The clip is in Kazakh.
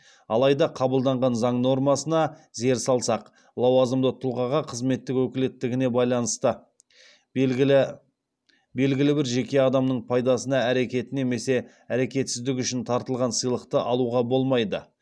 алайда қабылданған заң нормасына зер салсақ лауазымды тұлғаға қызметтік өкілеттігіне байланысты белгілі белгілі бір жеке адамның пайдасына әрекеті немесе әрекетсіздігі үшін тартылған сыйлықты алуға болмайды